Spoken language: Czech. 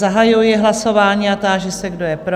Zahajuji hlasování a táži se, kdo je pro?